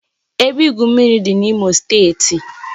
Ebe igwu mmiri dị na Imo steeti